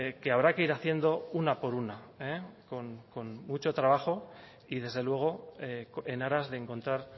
que habrá que ir haciendo una por una con mucho trabajo y desde luego en aras de encontrar